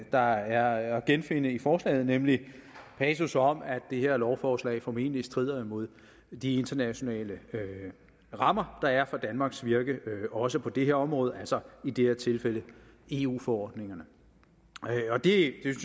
der er at genfinde i forslaget nemlig en passus om at det her lovforslag formentlig strider imod de internationale rammer der er for danmarks virke også på det her område altså i det her tilfælde eu forordningerne